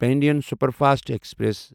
Pandian superfast express